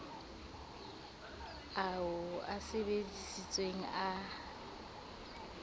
ao o a sebesisitseng a